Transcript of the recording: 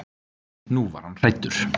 Nú var hann hræddur.